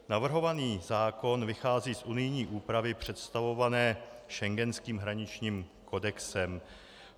Navrhovaný zákon vychází z unijní úpravy představované schengenským hraničním kodexem.